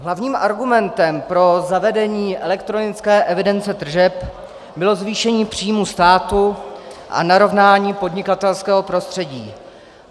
Hlavním argumentem pro zavedení elektronické evidence tržeb bylo zvýšení příjmů státu a narovnání podnikatelského prostředí.